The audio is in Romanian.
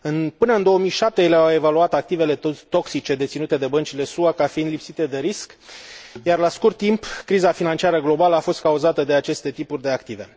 Până în 2007, ele au evaluat activele toxice deținute de băncile SUA ca fiind lipsite de risc, iar, la scurt timp, criza financiară globală a fost cauzată de aceste tipuri de active.